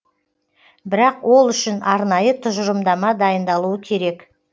бірақ ол үшін арнайы тұжырымдама дайындалуы керек